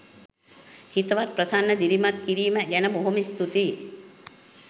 හිතවත් ප්‍රසන්න දිරිමත් කිරීම ගැන බොහොම ස්තුතියි.